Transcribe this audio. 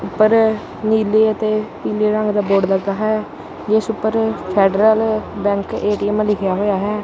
ਉੱਪਰ ਨੀਲੇ ਅਤੇ ਪੀਲੇ ਰੰਗ ਦਾ ਬੋਰਡ ਲੱਗਾ ਹੈ ਜਿਸ ਉੱਪਰ ਫੈਡਰਲ ਬੈਂਕ ਏ_ਟੀ_ਐਮ ਲਿਖਿਆ ਹੋਇਆ ਹੈ।